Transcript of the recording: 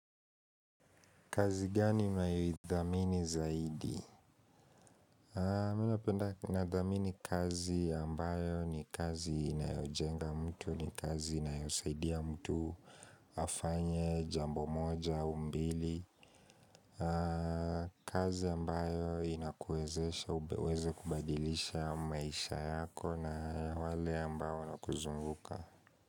Kazi gani unaithamini zaidi? Mimi napenda na kuithamini kazi ambayo ni kazi inayojenga mtu, ni kazi inayosaidia mtu, afanye jambo moja au mbili. Kazi ambayo inakuwezesha, uweze kubadilisha maisha yako na wale ambao wanakuzunguka.